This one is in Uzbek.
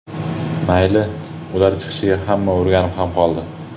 Mayli, ularni chiqishiga hamma o‘rganib ham qoldi.